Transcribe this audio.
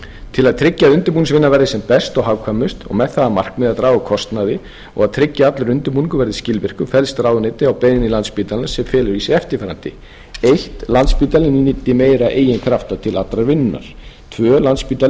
til að tryggja að undirbúningsvinnan verði sem best og hagkvæmust og með það að markmiði að draga úr kostnaði og tryggja að allur undirbúningur verði skilvirkur fellst ráðuneytið á beiðni landspítalans sem felur í sér eftirfarandi fyrsta landspítalinn nýtir meira eigin krafta til allrar vinnunnar annars landspítali